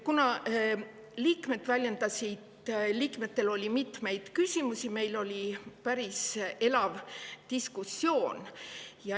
Kuna liikmetel oli mitmeid küsimusi, siis meil oli päris elav diskussioon.